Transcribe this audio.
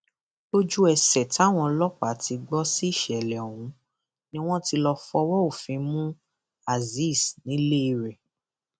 lójúẹsẹ táwọn ọlọpàá ti gbọ sí ìṣẹlẹ ọhún ni wọn ti lọọ fọwọ òfin mú azeez nílé rẹ